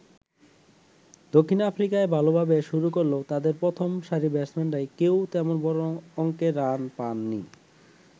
দক্ষিণ আফ্রিকা ভালোভাবে শুরু করলেও তাদের প্রথম সারির ব্যাটসম্যানরা কেউই তেমন বড় অংকের রান পান নি।